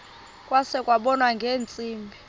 kwase kubonwa ngeentsimbi